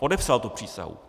Podepsal tu přísahu.